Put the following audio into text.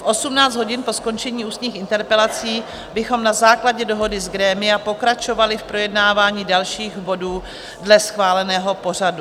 V 18 hodin, po skončení ústních interpelací, bychom na základě dohody z grémia pokračovali v projednávání dalších bodů dle schváleného pořadu.